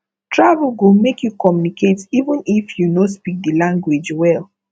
travel go make you communicate even if you no speak the language well